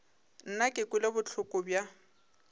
nna ke kwele bohloko bja